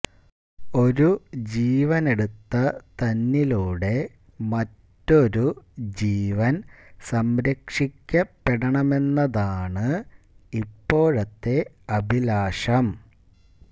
ഒരു ജീവനെടുത്ത തന്നിലൂടെ മറ്റൊരു ജീവന് സംരക്ഷിക്കപ്പെടണമെന്നതാണ് ഇപ്പോഴത്തെ അഭിലാഷം